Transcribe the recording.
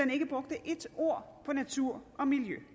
ikke brugte ét ord på natur og miljø